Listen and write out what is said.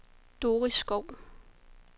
Doris Schou